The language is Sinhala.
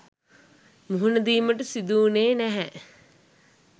මුහුණදීමට සිදු වුණේ නැහැ.